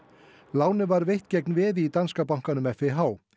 lánið var veitt gegn veði í danska bankanum FIH